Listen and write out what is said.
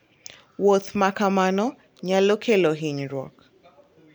Wuoth ma kamano nyalo kelo hinyruok.